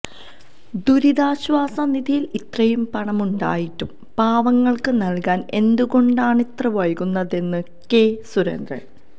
ദുരിതാശ്വാസ നിധിയിൽ ഇത്രയും പണം ഉണ്ടായിട്ടും പാവങ്ങൾക്ക് നല്കാന് എന്തുകൊണ്ടാണിത്ര വൈകുന്നതെന്ന് കെ സുരേന്ദ്രന്